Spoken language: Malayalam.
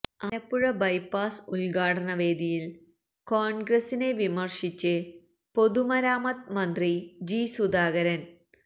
ആലപ്പുഴ ബൈപ്പാസ് ഉദ്ഘാടന വേദിയില് കോണ്ഗ്രസിനെ വിമര്ശിച്ച് പൊതുമരാമത്ത് മന്ത്രി ജി സുധാകരന്